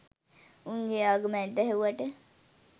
උන්ගේ ආගම ඇදහුවට